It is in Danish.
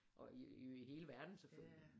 Og i hele verden selvfølgelig